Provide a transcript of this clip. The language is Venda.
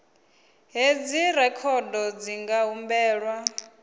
hedzi rekhodo dzi nga humbelwa